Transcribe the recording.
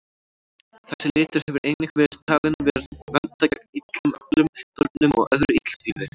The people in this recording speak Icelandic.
Þessi litur hefur einnig verið talinn vernda gegn illum öflum, nornum og öðru illþýði.